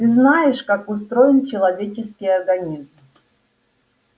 ты знаешь как устроен человеческий организм